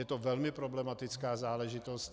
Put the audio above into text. Je to velmi problematická záležitost.